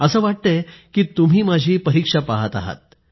असं वाटतय की तुम्ही माझी परीक्षा पाहत आहात